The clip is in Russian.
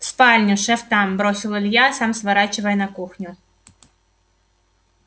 в спальню шеф там бросил илья сам сворачивая на кухню